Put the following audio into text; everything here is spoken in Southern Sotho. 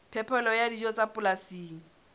phepelo ya dijo tsa polasing